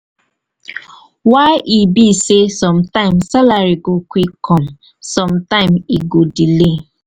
why e be sey sometimes salary go quick come sometime e go delay?